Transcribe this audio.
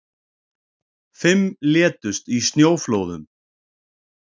Fimm létust í snjóflóðum